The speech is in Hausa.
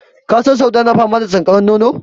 Ka san Sauda na fama da sankaran nono?